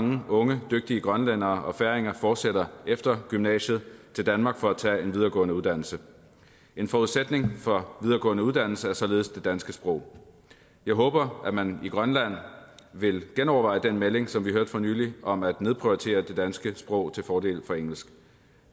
mange unge dygtige grønlændere og færinger fortsætter efter gymnasiet til danmark for at tage en videregående uddannelse en forudsætning for videregående uddannelse er således det danske sprog jeg håber at man i grønland vil genoverveje den melding som vi hørte for nylig om at nedprioritere det danske sprog til fordel for engelsk